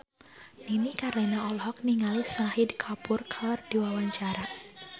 Nini Carlina olohok ningali Shahid Kapoor keur diwawancara